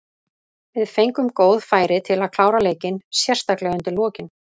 Við fengum góð færi til að klára leikinn, sérstaklega undir lokin.